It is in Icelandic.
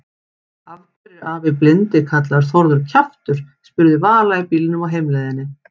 Af hverju er afi blindi kallaður Þórður kjaftur? spurði Vala í bílnum á heimleiðinni.